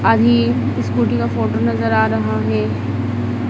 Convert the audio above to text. अभी स्कूटी का फोटो नजर आ रहा है।